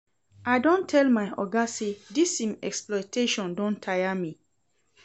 I don tell my oga sey dis im exploitation don tire me.